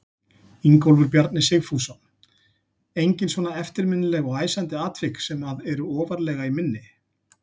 Ingólfur Bjarni Sigfússon: Engin svona eftirminnileg og æsandi atvik sem að eru ofarlega í minni?